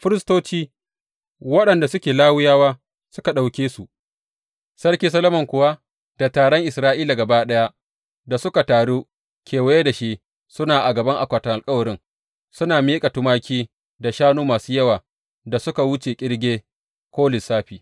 Firistoci, waɗanda suke Lawiyawa, suka ɗauke su; Sarki Solomon kuwa da taron Isra’ila gaba ɗaya da suka taru kewaye da shi suna a gaban akwatin alkawarin, suna miƙa tumaki da shanu masu yawa da suka wuce ƙirge ko lissafi.